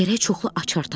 Gərək çoxlu açar tapaq.